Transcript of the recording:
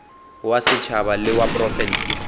wa setšhaba le wa profense